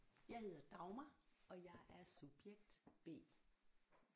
Jeg hedder Dagmar og jeg er subjekt B